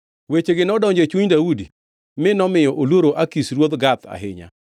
Wechegi nodonjo e chuny Daudi mi nomiyo oluoro Akish ruoth Gath ahinya.